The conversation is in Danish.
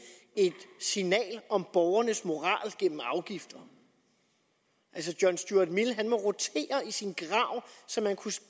et signal om borgernes moral gennem afgifter altså john stuart mill ville rotere i sin grav så man kunne